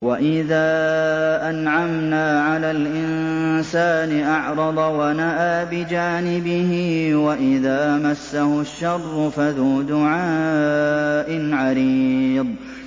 وَإِذَا أَنْعَمْنَا عَلَى الْإِنسَانِ أَعْرَضَ وَنَأَىٰ بِجَانِبِهِ وَإِذَا مَسَّهُ الشَّرُّ فَذُو دُعَاءٍ عَرِيضٍ